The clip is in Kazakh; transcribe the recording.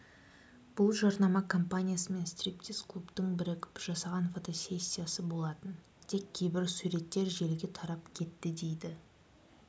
бұл жарнама компаниясы мен стриптиз-клубының бірігіп жасаған фотосессиясы болатын тек кейбір суреттер желіге тарап кетті дейді